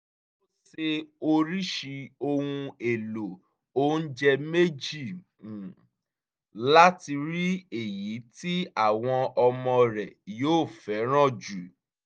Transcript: ó se oríṣi ohun èlò oúnjẹ méjì um láti rí èyí tí àwọn ọmọ rẹ̀ yóò fẹ́ràn jù